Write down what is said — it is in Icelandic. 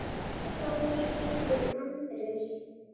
Sá var skírður Andrés.